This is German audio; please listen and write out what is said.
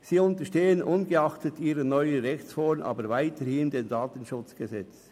Sie unterstehen ungeachtet ihrer neuen Rechtsform aber weiterhin dem KDSG.